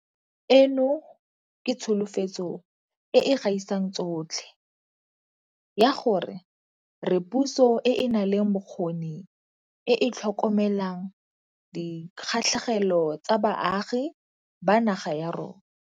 Eno ke tsholofetso e e gaisang tsotlhe ya gore re puso e e nang le bokgoni e e tlhokomelang dikgatlhegelo tsa baagi ba naga ya yona.